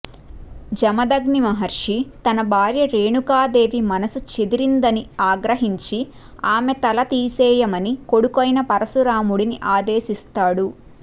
జమదగ్ని మహర్షి తన భార్య రేణుకాదేవి మనసు చెదిరిందని ఆగ్రహించి ఆమె తల తీసేయమని కొడుకైన పరశురాముడిని ఆదేశిస్తాడు